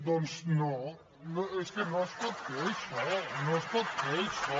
doncs no és que no es pot fer això no es pot fer això